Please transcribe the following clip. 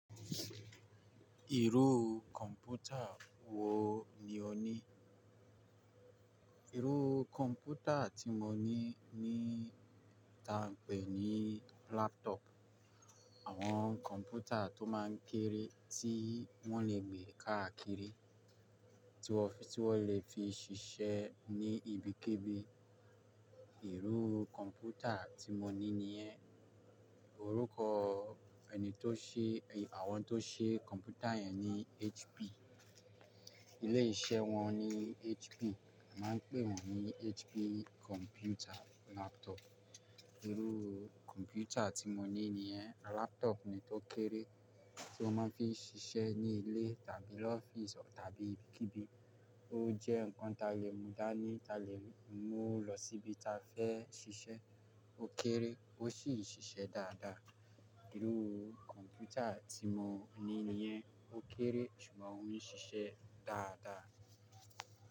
Irú kọ̀mpútà wo ni o ní? Irú kọ̀mpútà tí mo ní ni tá a ń pè ní laptop. Àwọn kọ̀mpútà tó máa ń kéré tí wọ́n lè gbé káàkiri, tí wọ́n lè fi ṣiṣẹ́ ní ibikíbi. Irú kọ̀mpútà tí mo ní ni yẹn. Orúkọ ẹni tó ṣe, àwọn tó ṣe kọ̀mpútà yẹn ni HP. Ilé-iṣẹ́ wọn ni HP. A máa ń pè wọ́n ní HP kọ̀mpútà laptop. Irú kọ̀mpútà tí mo ní ní yẹn. Laptop ni tó kéré tí wọ́n máa ń fi ṣiṣẹ́ ní ilé tàbí lọ́fíìsì tàbí ibikíbi. Ó jẹ́ nǹkan tá lè mú dání, tá lè mú lọ síbi tá fẹ́ ṣiṣẹ́. Ó kéré ó sì ń ṣiṣẹ́ dáadáa. Irú kọ̀mpútà tí mo ní ní yẹn. Ó kéré ṣùgbọ́n ó ń ṣiṣẹ́ dáadáa.